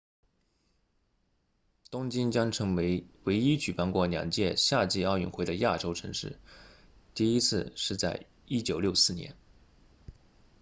东京将成为唯一举办过两届夏季奥运会的亚洲城市第一次是在1964年